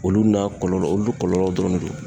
Olu n'a kɔlɔlɔ ,olu kɔlɔlɔ dɔrɔn de don.